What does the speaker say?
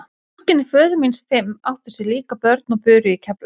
Systkini föður míns fimm áttu sér líka börn og buru í Keflavík.